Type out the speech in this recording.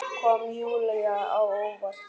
Kom Júlíu á óvart.